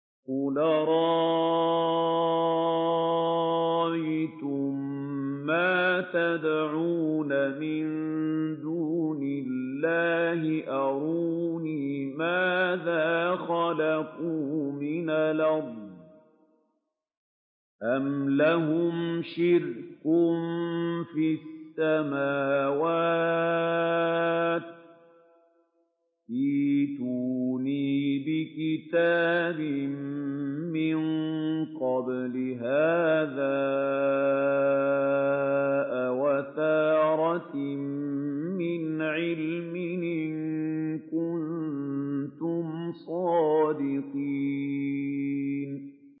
قُلْ أَرَأَيْتُم مَّا تَدْعُونَ مِن دُونِ اللَّهِ أَرُونِي مَاذَا خَلَقُوا مِنَ الْأَرْضِ أَمْ لَهُمْ شِرْكٌ فِي السَّمَاوَاتِ ۖ ائْتُونِي بِكِتَابٍ مِّن قَبْلِ هَٰذَا أَوْ أَثَارَةٍ مِّنْ عِلْمٍ إِن كُنتُمْ صَادِقِينَ